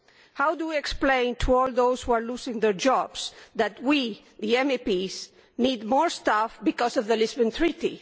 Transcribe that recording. How do we explain to all those who are losing their jobs that we, the MEPs, need more staff because of the Lisbon Treaty?